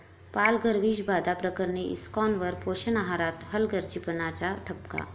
पालघर विषबाधा प्रकरणी इस्कॉनवर पोषण आहारात हलगर्जीपणाचा ठपका